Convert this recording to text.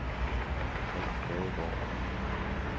Alf Gadegaard